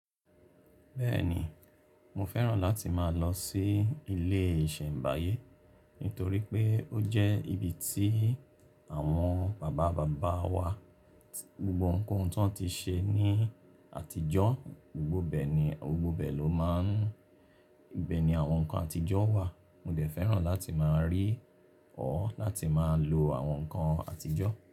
Bẹ́ẹ̀ni, mo fẹ́ràn láti máa lọ sí ilé ìṣẹ̀mbáyé, nítorí pé ó jẹ́ ibi tí àwọn bàbá bàbá wa, gbogbo ohun tí wọ́n ti ṣe ní àtijọ́, gbogbo bẹ́ẹ̀ ni, gbogbo bẹ́ẹ̀ ló máa ń, ibẹ̀ ni àwọn nǹkan àtijọ́ wà. Mo dẹ̀ fẹ́ràn láti máa rí ọ, láti máa lo àwọn nǹkan àtijọ́